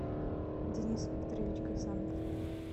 денис викторович гасанов